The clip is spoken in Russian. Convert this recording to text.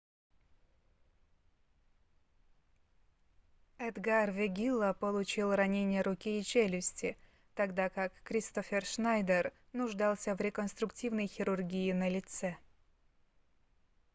эдгар вегилла получил ранения руки и челюсти тогда как кристоффер шнайдер нуждался в реконструктивной хирургии на лице